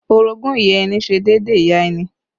Orogún ìyá ẹni ṣe déédéé ìyá ẹni